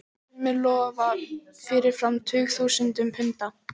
Sumir lofa fyrirfram tugþúsundum punda.